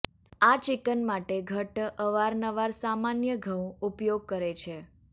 આ ચિકન માટે ઘટ્ટ અવારનવાર સામાન્ય ઘઉં ઉપયોગ કરે છે